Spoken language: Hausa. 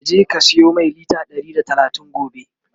ka je ka siyo Mai litre Ɗari da talatin gobe!